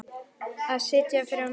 Að sitja fyrir á myndum?